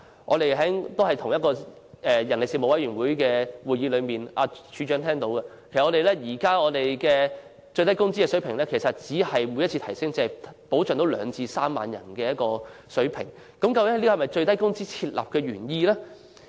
在上述的人力事務委員會會議上，局長也聽到了，其實現時最低工資的水平每次調升只能真正保障兩至3萬人，難道這就是設立最低工資的原意？